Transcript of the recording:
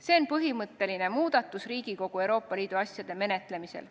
See on põhimõtteline muudatus Riigikogus Euroopa Liidu asjade menetlemisel.